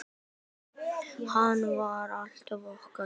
Hans var alltaf okkar.